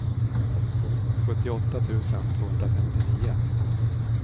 sjuttioåtta tusen tvåhundrafemtionio